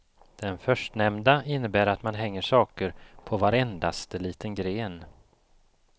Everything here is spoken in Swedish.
Den förstnämnda innebär att man hänger saker på varendaste liten gren.